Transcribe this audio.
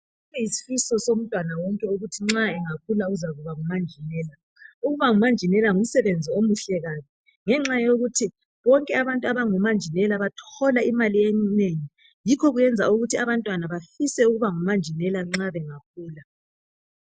Yisifiso somntwana wonke ukuthi nxa bengakhula uzaba ngumanjinela. Ukuba ngumanjinela ngumsebenzi omuhle kabi ngenxa yokuthi bonke abantu abngomanjinela bathola imali enengi yikho okwenza ukuthi abantwana bafise ukuba ngomanjinela nxa bengakhula.